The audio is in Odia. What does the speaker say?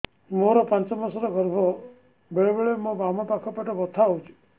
ମୋର ପାଞ୍ଚ ମାସ ର ଗର୍ଭ ବେଳେ ବେଳେ ମୋ ବାମ ପାଖ ପେଟ ବଥା ହଉଛି